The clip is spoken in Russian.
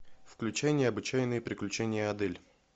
включи необычайные приключения адель